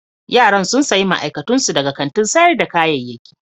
Yaran sun sayi ma'aikatun su daga kantin sayar da kayayyaki.